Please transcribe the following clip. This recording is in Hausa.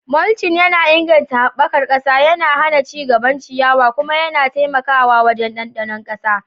Mulching yana inganta haɓakar ƙasa, yana hana ci gaban ciyawa, kuma yana taimakawa wajen ɗanɗano ƙasa.